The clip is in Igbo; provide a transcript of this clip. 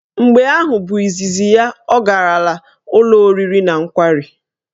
Mgbe ahụ bụ izizi ya ọ garala ụlọ oriri na nkwari.